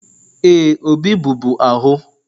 Ee, Obi bụ bu ahụ